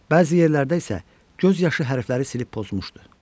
Bəzi yerlərdə isə göz yaşı hərfləri silib pozmuşdu.